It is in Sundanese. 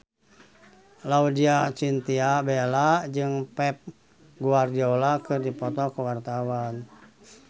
Laudya Chintya Bella jeung Pep Guardiola keur dipoto ku wartawan